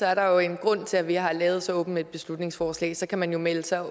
er der jo en grund til at vi har lavet så åbent et beslutningsforslag så kan man jo melde sig